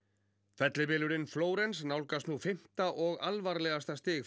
fellibylurinn Florence nálgast nú fimmta og alvarlegasta stig